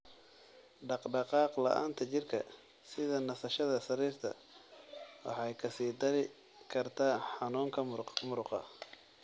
Dhaqdhaqaaq la'aanta jirka (sida nasashada sariirta) waxay ka sii dari kartaa xanuunka muruqa.